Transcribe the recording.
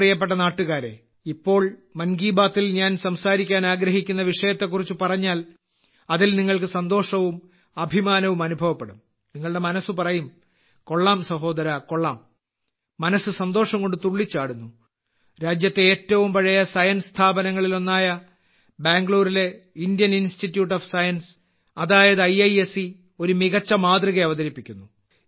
എന്റെ പ്രിയപ്പെട്ട നാട്ടുകാരേ ഇപ്പോൾ മൻ കി ബാത്തിൽ ഞാൻ സംസാരിക്കാൻ ആഗ്രഹിക്കുന്നവിഷയത്തെക്കുറിച്ച് പറഞ്ഞാൽ അതിൽ നിങ്ങൾക്ക് സന്തോഷവും അഭിമാനവും അനുഭവപ്പെടും നിങ്ങളുടെ മനസ്സ് പറയും കൊള്ളാം സഹോദരാ കൊള്ളാം മനസ്സ് സന്തോഷംകൊണ്ട് തുള്ളിച്ചാടുന്നു രാജ്യത്തെ ഏറ്റവും പഴയ സയൻസ് സ്ഥാപനങ്ങളിലൊന്നായ ബാംഗ്ലൂരിലെ ഇന്ത്യൻ ഇൻസ്റ്റിറ്റ്യൂട്ട് ഓഫ് സയൻസ് അതായത് ഐഐഎസ്സി ഒരു മികച്ച മാതൃക അവതരിപ്പിക്കുന്നു